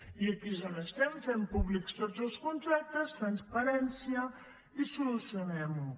i aquí és on estem fem públics tots els contractes transparència i solucionem ho